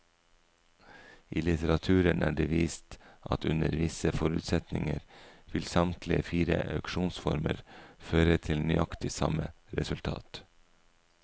I litteraturen er det vist at under visse forutsetninger vil samtlige fire auksjonsformer føre til nøyaktig samme resultat.